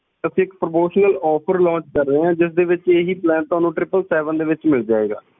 ਅਸੀ ਇਕ promotional offer launch ਕਰ ਰਹੇ ਆ ਜਿਸ ਦੇ ਵਿਚ ਤੁਹਾਨੂੰ ਇਹੀ plan tripple seven ਦੇ ਵਿੱਚ ਮਿਲ ਜਾਉਗਾ ।